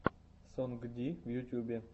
сонгди в ютубе